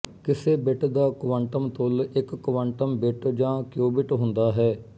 ਕਿਸੇ ਬਿੱਟ ਦਾ ਕੁਆਂਟਮ ਤੁੱਲ ਇੱਕ ਕੁਆਂਟਮ ਬਿੱਟ ਜਾਂ ਕਿਉਬਿੱਟ ਹੁੰਦਾ ਹੈ